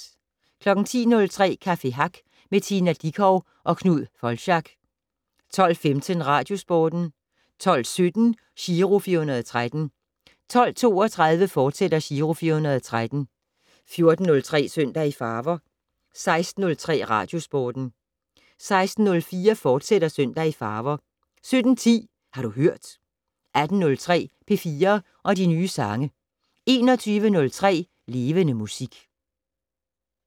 10:03: Café Hack med Tina Dickow og Knud Foldschack 12:15: Radiosporten 12:17: Giro 413 12:32: Giro 413, fortsat 14:03: Søndag i farver 16:03: Radiosporten 16:04: Søndag i farver, fortsat 17:10: Har du hørt 18:03: P4 og de nye sange 21:03: Levende Musik